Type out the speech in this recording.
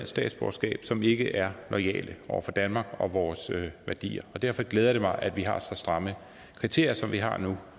statsborgerskab som ikke er loyale over for danmark og vores værdier derfor glæder det mig at vi har så stramme kriterier som vi har nu